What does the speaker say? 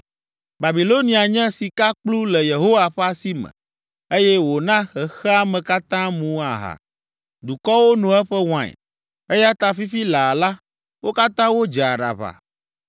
Babilonia nye sikakplu le Yehowa ƒe asi me, eye wòna xexea me katã mu aha. Dukɔwo no eƒe wain, eya ta fifi laa la, wo katã wodze aɖaʋa.